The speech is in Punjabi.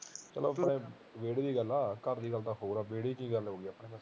ਚੱਲੋ ਇਹ ਆਪਣੇ ਵਿਹੜੇ ਦੀ ਗੱਲ ਘਰ ਦੀ ਗਲ ਤਾਂ ਹੋਰ ਵਿਹੜੇ ਦੀ ਗੱਲ ਹੋਈ